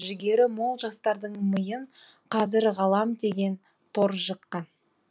жігері мол жастардың миын қазір ғалам деген тор жыққан